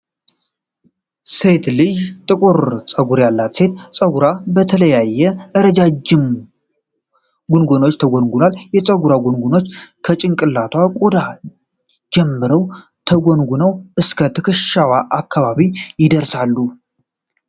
ሴት ልጅቱ ጥቁር ፀጉር ያላት ሲሆን፣ ፀጉሯ በተለያዩ ረዣዥም ጎንጎኖች ተጎንጉኗል። የፀጉሩ ጎንጎኖች ከጭንቅላት ቆዳ ጀምረው ተጎንጉነው እስከ ትከሻዋ አካባቢ ይደርሳሉ።